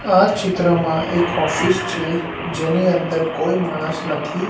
આ ચિત્રમાં એક ઓફિસ છે જેની અંદર કોઈ માણસ નથી.